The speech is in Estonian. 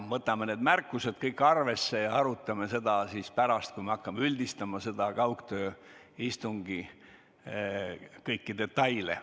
Me võtame need märkused kõik arvesse ja arutame neid pärast, kui me hakkame kaugtööistungi kõiki detaile käsitlema.